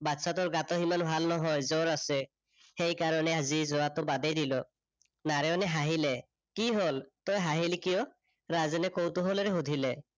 বাচ্ছাটোৰ গাটো সিমান ভাল নহয়, জ্বৰ আছে, সেইকাৰনে আজি যোৱাটো বাদেই দিলো। নাৰায়নে হাঁহিলে। কি হল তই হাঁহিলি কিয়? ৰাজেনে কৌতোহলেৰে সুধিলে।